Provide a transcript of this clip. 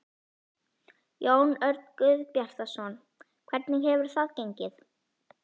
Jón Örn Guðbjartsson: Hvernig hefur þetta gengið?